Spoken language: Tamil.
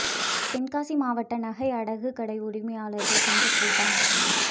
தென்காசி மாவட்ட நகை அடகு கடை உரிமையாளா்கள் சங்கக் கூட்டம்